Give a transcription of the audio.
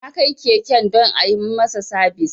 Na kai keken don a yi masa sabis